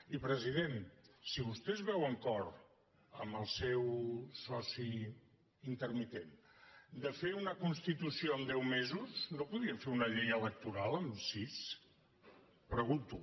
i president si vostè es veu amb cor amb el seu soci intermitent de fer una constitució amb deu mesos no podríem fer una llei electoral amb sis pre·gunto